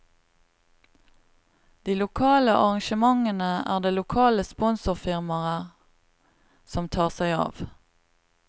De lokale arrangementene er det lokale sponsorfirmaer som tar seg av.